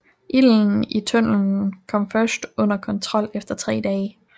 Ilden i tunnelen kom først under kontrol efter tre dage